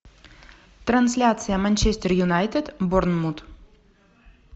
трансляция манчестер юнайтед борнмут